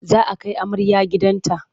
Za a kai amarya gidan ta.